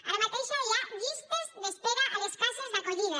ara mateix hi ha llistes d’espera a les cases d’acollida